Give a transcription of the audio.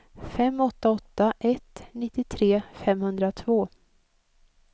fem åtta åtta ett nittiotre femhundratvå